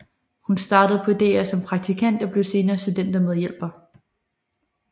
Hun startede på DR som praktikant og blev senere studentermedhjælper